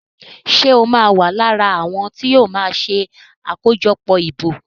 Ṣe o ma wá lára àwọn tíó ma ṣe akojọpọ ìbò?